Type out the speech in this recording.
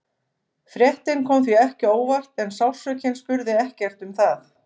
Fréttin kom því ekki á óvart en sársaukinn spurði ekkert um það.